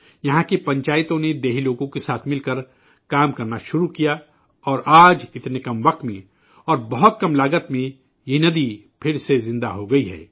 یہاں کی پنچایتوں نے گاؤں والوں کے ساتھ مل کر کام کرنا شروع کیا اور آج اتنی کم مدت میں اور بہت کم لاگت میں یہ ندی پھر سے زندہ ہو گئی ہے